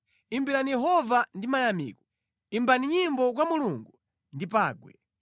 Imbirani Yehova ndi mayamiko; imbani nyimbo kwa Mulungu ndi pangwe.